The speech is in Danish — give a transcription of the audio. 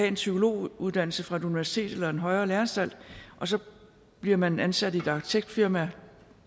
en psykologuddannelse fra et universitet eller en højere læreanstalt og så bliver man ansat i et arkitektfirma